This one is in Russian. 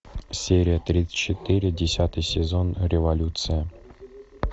серия тридцать четыре десятый сезон революция